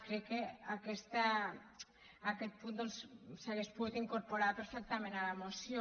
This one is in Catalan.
crec que aquest punt doncs s’hauria pogut incorporar perfectament a la moció